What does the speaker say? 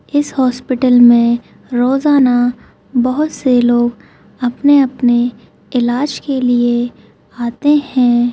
इस हॉस्पिटल में रोजाना बहोत से लोग अपने अपने इलाज के लिए आते है।